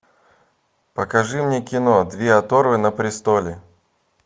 покажи мне кино две оторвы на престоле